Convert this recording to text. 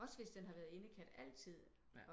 Også hvis den har været indekat altid